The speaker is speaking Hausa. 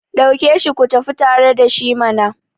dauke shi ku tafi tare da shi mana!